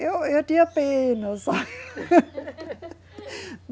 Eu, eu tinha pena, sabe?